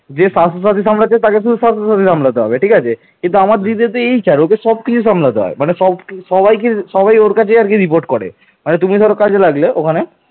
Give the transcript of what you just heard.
কিন্তু একই সময় পুষ্যভূতির রাজা রাজ্যবর্ধন দেবগুপ্তকে আক্রমণ করে তাকে পরাজিত করেন